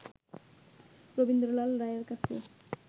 রবীন্দ্রলাল রায়ের কাছে